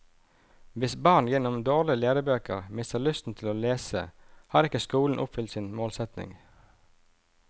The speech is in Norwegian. Hvis barn gjennom dårlige lærebøker mister lysten til å lese har ikke skolen oppfylt sin målsetning.